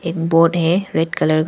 Board है red colour का।